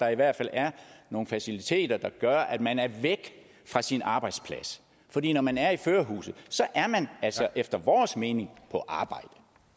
i hvert fald er nogle faciliteter der gør at man er væk fra sin arbejdsplads fordi når man er i førerhuset er man altså efter vores mening på arbejde